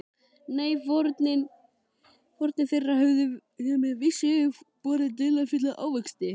Nei, fórnir þeirra höfðu með vissu borið dularfulla ávexti.